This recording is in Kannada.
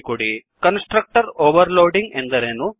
httpwwwspoken tutorialಒರ್ಗ್ ಕನ್ಸ್ ಟ್ರಕ್ಟರ್ ಓವರ್ ಲೋಡಿಂಗ್ ಎಂದರೇನು